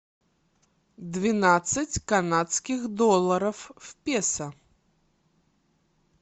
двенадцать канадских долларов в песо